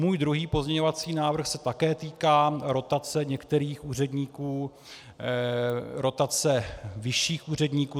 Můj druhý pozměňovací návrh se také týká rotace některých úředníků, rotace vyšších úředníků.